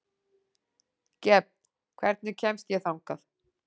Gefn, hvernig kemst ég þangað?